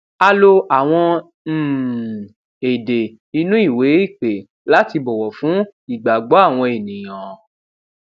a lo àwọn um èdè inú ìwé ìpè láti bọwọ fún ìgbàgbọ àwọn ènìyàn